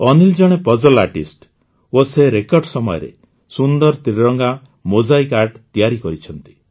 ଅନିଲ୍ ଜଣେ puzzle artist ଓ ସେ ରେକର୍ଡ଼ ସମୟରେ ସୁନ୍ଦର ତ୍ରିରଙ୍ଗା ମୋଜାଇକ୍ ଆର୍ଟ ତିଆରି କରିଛନ୍ତି